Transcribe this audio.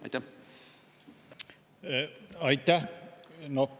Aitäh!